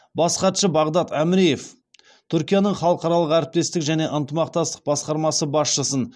бас хатшы бағдад әміреев түркияның халықаралық әріптестік және ынтымақтастық басқармасы басшысын